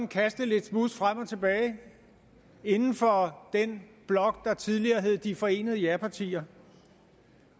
kaste lidt smuds frem og tilbage inden for den blok der tidligere hed de forenede japartier